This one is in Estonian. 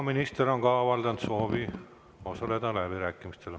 Minister on ka avaldanud soovi osaleda läbirääkimistel.